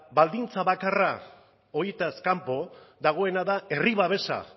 baldintza bakarra horietaz kanpo dagoena da herri babesa